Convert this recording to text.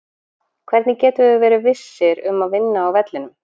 Hvernig getum við verið vissir um að vinna á vellinum?